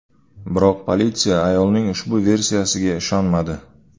Biroq politsiya ayolning ushbu versiyasiga ishonmadi.